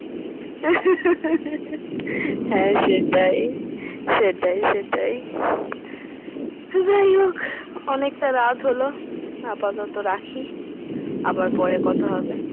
হ্যাঁ সেটাই সেটাই সেটাই যাই হোক অনেকটা রাত হল আপাতত রাখি আবার পরে কথা হবে।